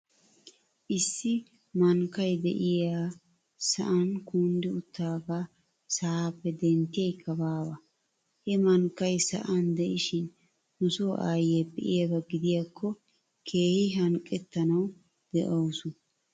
Issi mankkay de'iyaa sa'an kunddi uttidaagaa sa'aappe denttiyaykka baawa. He mankkay sa'an de'ishin nuso aayyiyaa be'iyaaba gidiyaakko keehi hanqqettanaw dawsu.